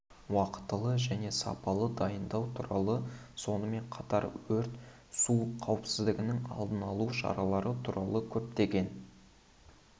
уақытылы және сапалы дайындау туралы сонымен қатар өрт су қауіпсіздігінің алдын алу шаралары туралы көптеген